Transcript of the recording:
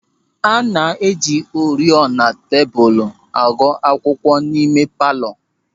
A na-eji oriọna tebụl akụ akwụkwọ n'ime palọ.